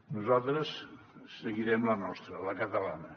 nosaltres seguirem la nostra la catalana